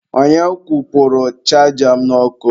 Onye kwụpụrụ chaja m n'ọkụ?